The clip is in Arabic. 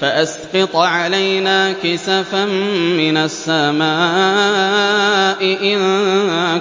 فَأَسْقِطْ عَلَيْنَا كِسَفًا مِّنَ السَّمَاءِ إِن